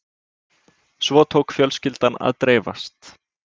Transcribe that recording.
Svo tók fjölskyldan að dreifast